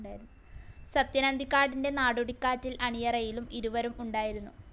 സത്യൻ അന്തിക്കാടിന്റെ നാടോടിക്കാറ്റിന്റെ അണിയറയിലും ഇരുവരും ഉണ്ടായിരുന്നു.